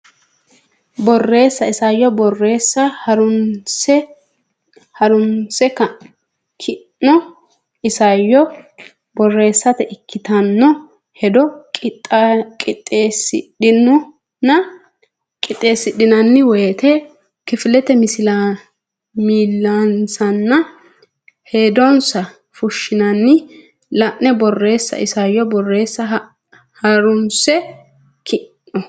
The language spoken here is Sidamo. Borreessa Isayyo Borreessa Ha runsi keeno isayyo borreessate ikkitanno hedo qixxeessidhanno woyte kifilete millissanninna hedonsa fooshshanni lai Borreessa Isayyo Borreessa Ha runsi keeno.